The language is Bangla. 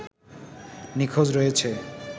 নিখোঁজ রয়েছে